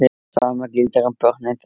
Sama gildir um börnin þeirra.